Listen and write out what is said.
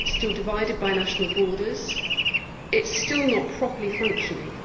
it is still divided by national borders it is still not properly functioning.